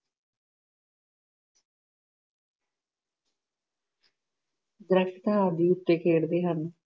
Cricket ਆਦਿ ਝੁੱਕ ਕੇ ਖੇਡਦੇ ਹਨ।